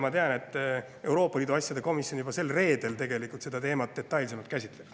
Ma tean, et Euroopa Liidu asjade komisjon juba sel reedel seda teemat detailsemalt käsitleb.